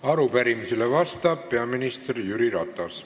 Arupärimisele vastab peaminister Jüri Ratas.